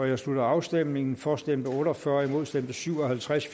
jeg slutter afstemningen for stemte otte og fyrre imod stemte syv og halvtreds